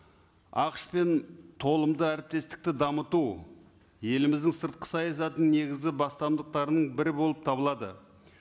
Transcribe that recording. ақш пен толымды әріптестікті дамыту еліміздің сыртқы саясатының негізі бастамдықтарының бірі болып табылады